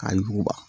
K'a yuguba